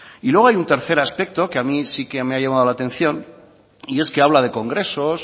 y luego hay un tercer aspecto que a mí sí que me ha llamado la atención y es que habla de congresos